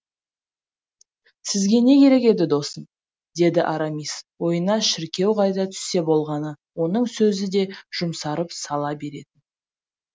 сізге не керек еді досым деді арамис ойына шіркеу қайта түссе болғаны оның сөзі де жұмсарып сала беретін